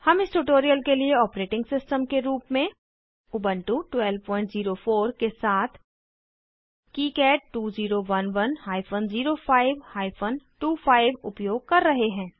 हम इस ट्यूटोरियल के लिए ऑपरेटिंग सिस्टम के रूप में उबन्टु 1204 के साथ किकाड 2011 हाइफन 05 हाइफन 25 उपयोग कर रहे हैं